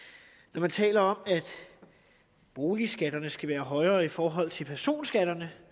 når man taler om at boligskatterne skal være højere i forhold til personskatterne